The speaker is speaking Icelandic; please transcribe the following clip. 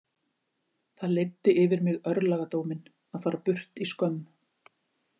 Það leiddi yfir mig örlagadóminn- að fara burt í skömm.